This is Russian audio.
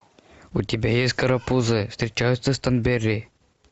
у тебя есть карапузы встречаются с торнберри